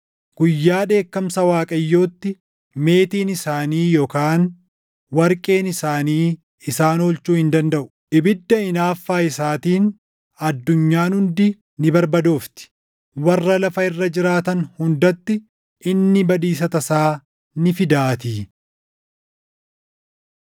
Guyyaa dheekkamsa Waaqayyootti meetiin isaanii yookaan warqeen isaanii isaan oolchuu hin dandaʼu.” Ibidda hinaaffaa isaatiin addunyaan hundi ni barbadoofti; warra lafa irra jiraatan hundatti inni badiisa tasaa ni fidaatii.